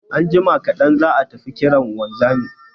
Anjima kaɗan zan tafi kiran wanzamin